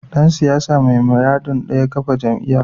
Dan siyasa mai muradin daya kafa jam’iyya